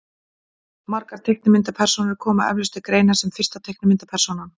margar teiknimyndapersónur koma eflaust til greina sem fyrsta teiknimyndapersónan